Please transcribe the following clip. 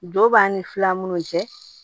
Don b'a ni fila minnu cɛ